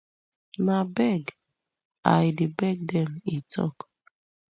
na beg i dey beg dem e tok